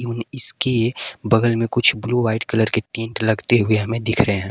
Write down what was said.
इसके बगल में कुछ ब्लू व्हाइट कलर के टैंट लगते हुए हमें दिख रहे है।